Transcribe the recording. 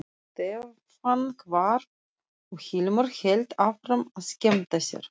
Stefán hvarf og Hilmar hélt áfram að skemmta sér.